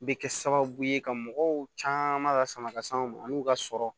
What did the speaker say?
Bɛ kɛ sababu ye ka mɔgɔw caman la sama ka se anw ma an n'u ka sɔrɔ